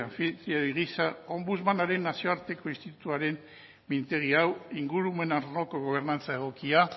ombudsman nazioarteko institutuaren mintegi hau ingurumen arloko gobernantza egokia